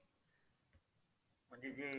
म्हणजे जे